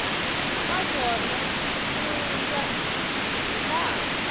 ka swona ku ya hilaha